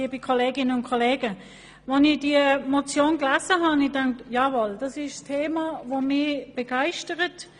Beim Lesen dieser Motion hat mich dieses Thema begeistert.